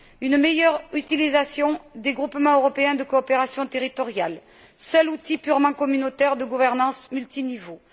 Une meilleure utilisation des groupements européens de coopération territoriale, seul outil purement communautaire de gouvernance multiniveaux.